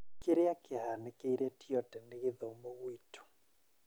Kĩrĩa kĩahanĩkĩire Tiote nĩ gĩthomo gwitũ